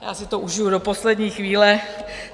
Já si to užiju do poslední chvíle.